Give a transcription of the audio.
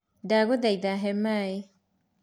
ndagũthaitha he maĩ.